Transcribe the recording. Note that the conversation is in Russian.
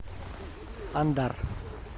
ондар